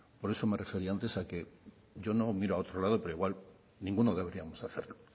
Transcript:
por eso me refería antes a que yo no miro a otro lado pero igual ninguno deberíamos hacerlo